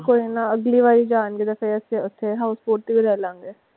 ਕੋਈ ਨਾ ਅਗਲੀ ਵਾਰੀ ਜਾਣਗੇ ਤਾਂ ਫਿਰ ਅਸੀਂ ਓਥੇ house boat ਤੇ ਵੀ ਲੈ ਲਵਾਂਗੇ।